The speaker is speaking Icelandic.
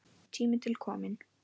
Tími til kominn!